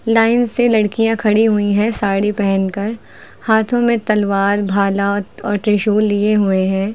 Line से लड़कियां खड़ी हुई हैं साड़ी पहनकर हाथों में तलवार भाला और और त्रिशूल लिए हुए हैं।